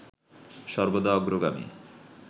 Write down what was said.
সর্বদা অগ্রগামী